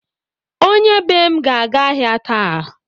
Onye be m ga-aga ahịa taa.